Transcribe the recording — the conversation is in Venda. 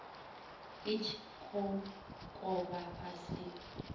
i tshi kokovha fhasi kana